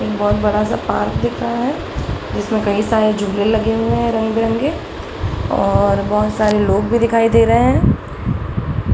बहुत बड़ा सा पार्क दिख रहा है जिसमे कई सारे झूले लगे हुए हैं रंग बिरंगे और बहुत सारे लोग भी दिखाई दे रहे है ।